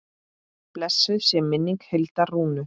Blessuð sé minning Hildar Rúnu.